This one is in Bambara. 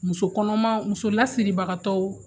Muso kɔnɔma muso lasiribagatɔw